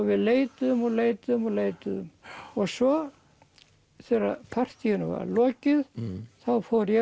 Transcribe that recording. við leituðum og leituðum og leituðum svo þegar partýinu var lokið fór ég